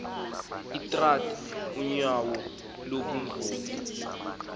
utrath unyauo lubunvoko